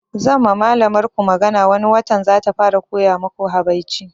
Zan ma malamar ku magana wani watan zata fara koya maku habaici